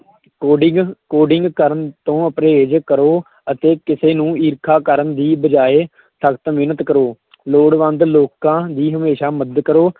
Coding coding ਕਰਨ ਤੋਂ ਪਰਹੇਜ਼ ਕਰੋ ਅਤੇ ਕਿਸੇ ਨੂੰ ਈਰਖਾ ਕਰਨ ਦੀ ਬਜਾਏ ਸਖਤ ਮਿਹਨਤ ਕਰੋ ਲੋੜਵੰਦ ਲੋਕਾਂ ਦੀ ਹਮੇਸ਼ਾਂ ਮਦਦ ਕਰੋ।